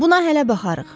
Buna hələ baxarıq.